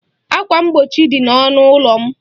Ákwà mgbochi dị n'ọnụ ụlọ m.